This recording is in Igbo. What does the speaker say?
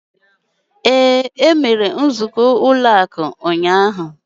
Ee, nzukọ ụlọ akụ emere ụnyaahụ.